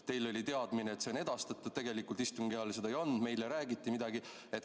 Teil oli teadmine, et see on edastatud, tegelikult istungi ajal ta seda ei andnud, meile räägiti midagi.